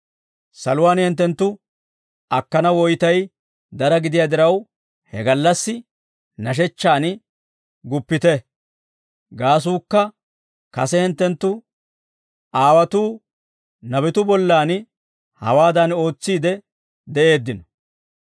Saluwaan hinttenttu akkana woytay dara gidiyaa diraw he gallassi nashechchaan guppite; gaasuukka kase hinttenttu aawotuu nabatuwaa bollan hawaadan ootsiidde de'eeddino.